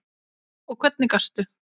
Og hvernig gastu?